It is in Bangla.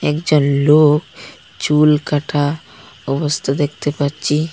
একজন লোক চুলকাটা অবস্থা দেখতে পাচ্ছি।